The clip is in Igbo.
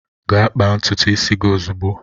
Gaa kpaa ntutu isi gị ozugbo!